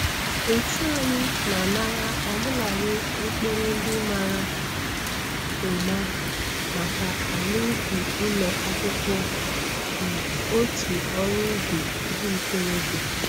Otu anyị na-anara obụladị mkpụrụ ndị mara ụma maka ala ubi ụlọ akwụkwọ na otu ọrụ ubi ndị ntorobịa.